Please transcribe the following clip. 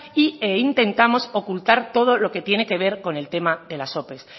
y e intentamos ocultar todo lo que tiene que ver con el tema de las ope